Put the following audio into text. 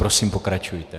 Prosím, pokračujte.